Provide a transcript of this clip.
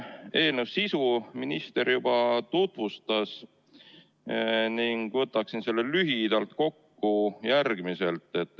Eelnõu sisu minister juba tutvustas ning võtaksin selle lühidalt kokku järgmiselt.